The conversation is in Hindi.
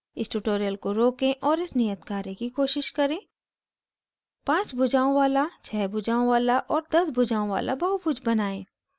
इस tutorial को रोकें और इस नियत कार्य की कोशिश करें पाँच भुजाओं वाला छः भुजाओं वाला और दस भुजाओं वाला बहुभुज बनाएं